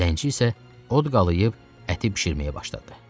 Zənci isə od qalayb əti bişirməyə başladı.